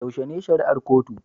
Yaushe ne shari'ar kotu